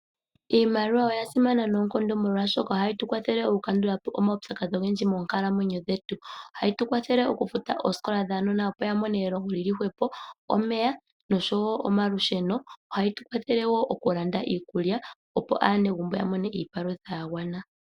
Iimaliwa oya simana noonkondo, molwashoka ohayi tukwathele okukandulapo omaupyakadhi ogendji moonkalamwenyo dhetu. Ohayi tukwathele okufuta ooskola dhaanona opo ya mone elongo lyili hwepo, omeya, noshowo omalusheno. Ohayi tukwathele wo okulanda iikulya opo aanegumbo ya mone iipalutha ya gwana.